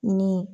Ni